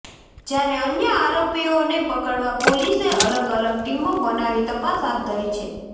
જ્યારે અન્ય આરોપીઓને પકડવા પોલીસે અલગ અલગ ટીમો બનાવી તપાસ હાથ ધરી છે